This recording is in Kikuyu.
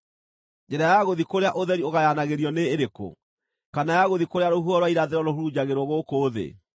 Njĩra ya gũthiĩ kũrĩa ũtheri ũgayanagĩrio nĩĩrĩkũ, kana ya gũthiĩ kũrĩa rũhuho rwa irathĩro rũhurunjagĩrwo gũkũ thĩ?